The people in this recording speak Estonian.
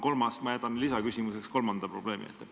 Kolmanda probleemi jätan lisaküsimuse jaoks.